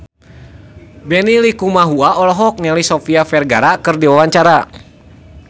Benny Likumahua olohok ningali Sofia Vergara keur diwawancara